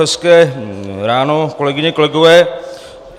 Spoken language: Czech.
Hezké ráno, kolegyně, kolegové.